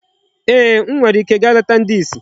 Eeh, m nwere ike gaa leta ndị isi